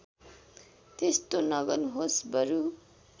त्यस्तो नगर्नुहोस् बरू